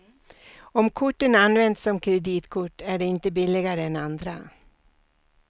Om korten används som kreditkort är de inte billigare än andra.